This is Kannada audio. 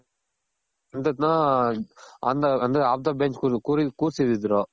on the bench ಕೂರ್ಸಿದಿದ್ರು